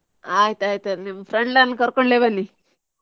ಆಯ್ತು ಆಯ್ತು ನಿಮ್ಮ friend ಅನ್ನು ಕರ್ಕೊಂಡೆ ಬನ್ನಿ.